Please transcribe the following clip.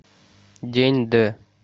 день д